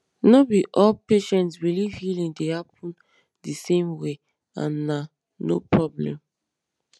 no be all patients believe healing dey happen the same way and na no problem